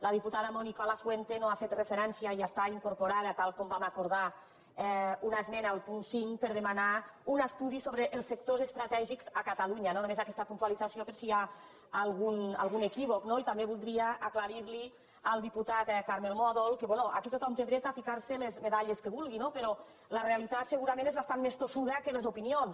la diputada mònica lafuente no ha fet referència i hi està incorporada tal com vam acordar a una esmena al punt cinc per demanar un estudi sobre el sectors estratègics a catalunya no només aquesta puntualització per si hi ha algun equívoc no i també voldria aclarir li al diputat carmel mòdol que bé aquí tothom té dret a ficar se les medalles que vulgui no però la realitat segurament és bastant més tossuda que les opinions